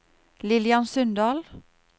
Lillian Sundal